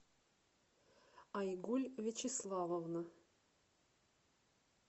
айгуль вячеславовна